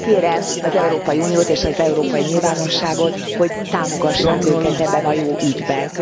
Kérem az Európai Uniót és az európai nyilvánosságot, hogy támogassák őket ebben a jó ügyben.